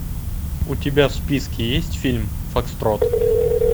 у тебя в списке есть фильм фокстрот